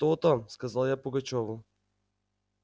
то-то сказал я пугачёву